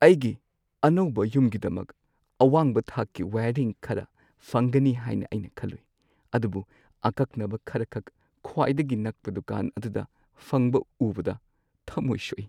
ꯑꯩꯒꯤ ꯑꯅꯧꯕ ꯌꯨꯝꯒꯤꯗꯃꯛ ꯑꯋꯥꯡꯕ ꯊꯥꯛꯀꯤ ꯋꯥꯏꯌꯔꯤꯡ ꯈꯔ ꯐꯪꯒꯅꯤ ꯍꯥꯏꯅ ꯑꯩꯅ ꯈꯜꯂꯨꯏ, ꯑꯗꯨꯕꯨ ꯑꯀꯛꯅꯕ ꯈꯔꯈꯛ ꯈ꯭ꯋꯥꯏꯗꯒꯤ ꯅꯛꯄ ꯗꯨꯀꯥꯟ ꯑꯗꯨꯗ ꯐꯪꯕ ꯎꯕꯗ ꯊꯃꯣꯏ ꯁꯣꯛꯏ꯫